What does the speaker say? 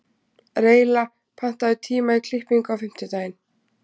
Reyla, pantaðu tíma í klippingu á fimmtudaginn.